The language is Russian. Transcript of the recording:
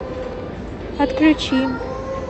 отключи